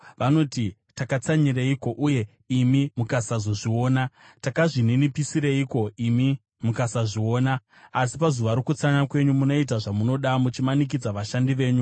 Vanoti, ‘Takatsanyireiko, uye imi mukasazviona? Takazvininipisireiko, imi mukasazviona?’ “Asi pazuva rokutsanya kwenyu munoita zvamunoda muchimanikidza vashandi venyu.